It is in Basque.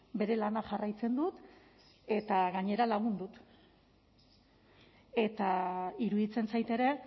bere lana jarraitzen dut eta gainera lagun dut eta iruditzen zait ere